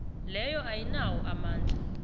leyo ayinawo amandla